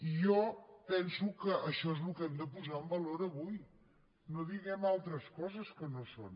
i jo penso que això és el que hem de posar en valor avui no diem altres coses que no són